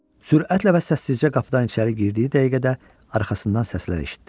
Sürətlə və səssizcə qapıdan içəri girdiyi dəqiqədə arxasından səslər eşitdi.